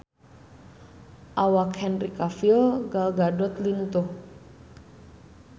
Awak Henry Cavill Gal Gadot lintuh